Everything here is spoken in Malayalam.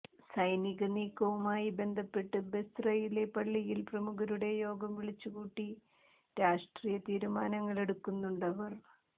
സൈനിക നീക്കവുമായി ബന്ധപ്പെട്ട് ബസ്റയിലെ പള്ളിയിൽ പ്രമുഖരുടെ യോഗം വിളിച്ചു കൂട്ടി രാഷ്ട്രീയ തീരുമാനങ്ങളെടുക്കുന്നുണ്ടവർ